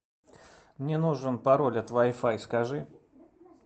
мне нужен пароль от вай фай скажи